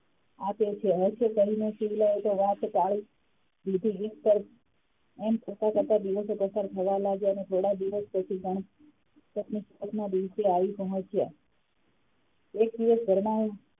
આપે છે હાથે કરીને તો શિવલાએ તો વાત ટાડી દીધી પણ એમ કરતાં -કરતાં દિવશો પસાર થવા લાગ્યાં ને થોડા દિવસ પછી આવી પહોચ્યા એક દિવસ ઘરમાં,